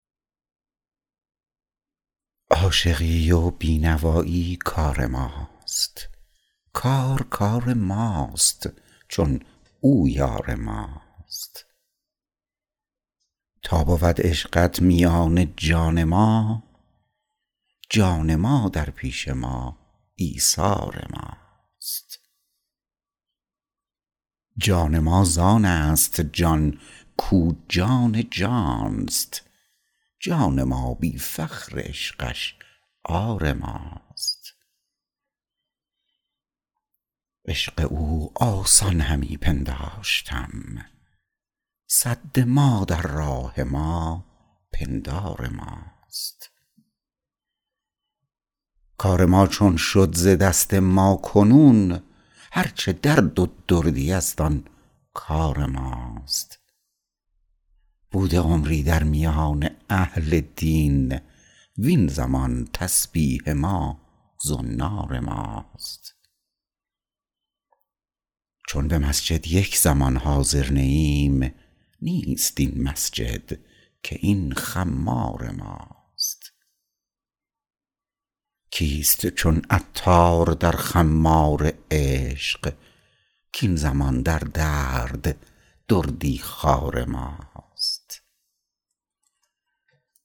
عاشقی و بی نوایی کار ماست کار کار ماست چون او یار ماست تا بود عشقت میان جان ما جان ما در پیش ما ایثار ماست جان ما زان است جان کو جان ماست جان ما بی فخر عشقش عار ماست عشق او آسان همی پنداشتم سد ما در راه ما پندار ماست کار ما چون شد ز دست ما کنون هرچه درد و دردی است آن کار ماست بوده عمری در میان اهل دین وین زمان تسبیح ما زنار ماست چون به مسجد یک زمان حاضر نه ایم نیست این مسجد که این خمار ماست کیست چون عطار در خمار عشق کین زمان در درد دردی خوار ماست